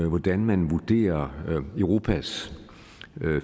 hvordan man vurderer europas